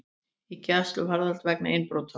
Í gæsluvarðhald vegna innbrota